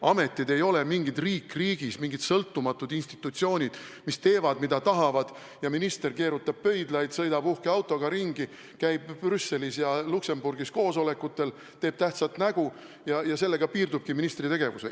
Ametid ei ole mingid riik riigis, mingid sõltumatud institutsioonid, mis teevad, mida tahavad, ja minister keerutab pöidlaid, sõidab uhke autoga ringi, käib Brüsselis ja Luxembourgis koosolekutel, teeb tähtsat nägu ja sellega tema tegevus piirdub.